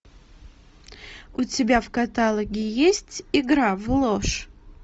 у тебя в каталоге есть игра в ложь